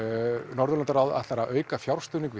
Norðurlandaráð ætlar að auka fjárstuðning við